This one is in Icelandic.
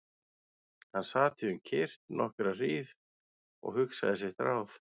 Hann sat því um kyrrt nokkra hríð og hugsaði sitt ráð.